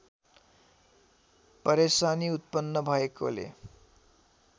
परेशानी उत्पन्न भएकोले